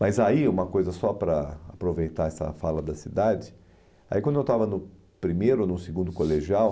Mas aí, uma coisa só para aproveitar essa fala da cidade, aí quando eu estava no primeiro ou no segundo colegial,